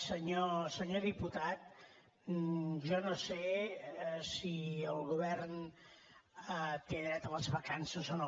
senyor diputat jo no sé si el govern té dret a les vacances o no